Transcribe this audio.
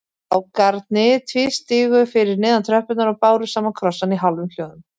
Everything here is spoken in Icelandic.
Strákarnir tvístigu fyrir neðan tröppurnar og báru saman krossana í hálfum hljóðum.